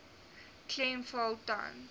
klem val tans